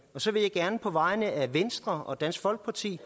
så vil jeg gerne på vegne af venstre og dansk folkeparti